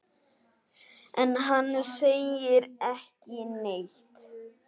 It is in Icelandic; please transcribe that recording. En hann segir ekki neitt.